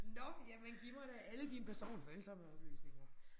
Nåh jamen giv mig da alle dine personfølsomme oplysninger